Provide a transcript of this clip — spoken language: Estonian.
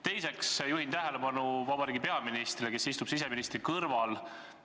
Teiseks juhin tähelepanu vabariigi peaministrile, kes istub siseministri kõrval.